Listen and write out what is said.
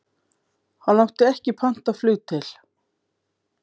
Hann átti ekki pantað flug til